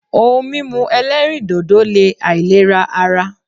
Ohun mímú ẹlẹ́rìndòdò le àìlera ara.